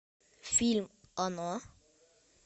фильм оно